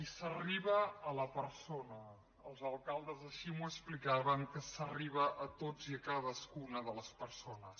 i s’arriba a la persona els alcaldes així m’ho explicaven que s’arriba a totes i a cadascuna de les persones